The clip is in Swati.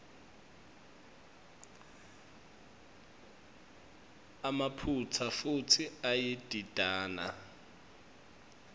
emaphutsa futsi iyadidana